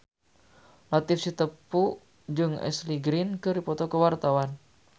Latief Sitepu jeung Ashley Greene keur dipoto ku wartawan